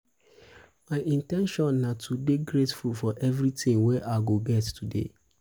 my in ten tion na to dey grateful for everytin wey i go get today.